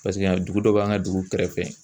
Paseke a dugu dɔ b'an ka dugu kɛrɛfɛ.